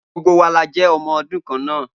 Gbogbo wa la jé ọmọ ọdún kan náà